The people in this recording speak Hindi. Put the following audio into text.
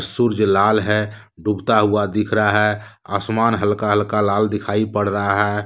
सुर्ज लाल है डूबता हुआ दिख रहा है आसमान हल्का हल्का लाल दिखाई पड़ रहा है।